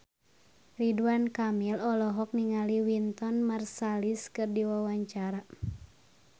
Ridwan Kamil olohok ningali Wynton Marsalis keur diwawancara